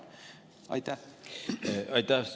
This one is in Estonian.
Aitäh!